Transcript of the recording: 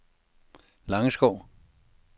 Langeskov